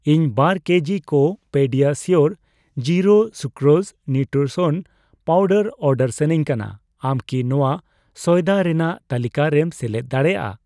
ᱤᱧ ᱵᱟᱨ ᱠᱮᱡᱤ ᱠᱚ PediaSure zero sucrose nutrition powder order ᱥᱟᱱᱟᱧ ᱠᱟᱱᱟ, ᱟᱢ ᱠᱤ ᱱᱚᱣᱟ ᱥᱚᱭᱫᱟ ᱨᱮᱱᱟᱜ ᱛᱟᱹᱞᱤᱠᱟ ᱨᱮᱢ ᱥᱮᱞᱮᱫ ᱫᱟᱲᱮᱭᱟᱜᱼᱟ ?